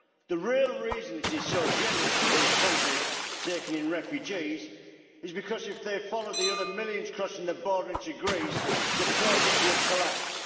The real reason it is so generous to these countries taking in refugees is because if they follow the other millions crossing the border into Greece, the project would collapse.